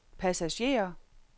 passagerer